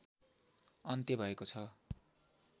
अन्त्य भएको छ